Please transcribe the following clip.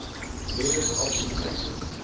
various option taxes